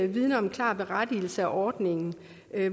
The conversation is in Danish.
vidner om en klar berettigelse af ordningen